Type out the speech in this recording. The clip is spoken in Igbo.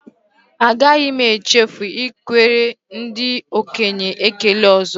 Agaghị m echefu ikwere ndị okenye ekele ọzọ